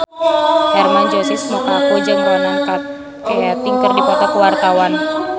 Hermann Josis Mokalu jeung Ronan Keating keur dipoto ku wartawan